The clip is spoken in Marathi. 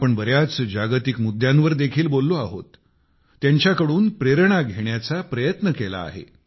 आपण बर्याच जागतिक मुद्द्यांवर देखील बोललो आहोत त्यांच्याकडून प्रेरणा घेण्याचा प्रयत्न केला आहे